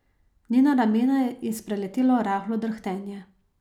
Njena ramena je spreletelo rahlo drhtenje.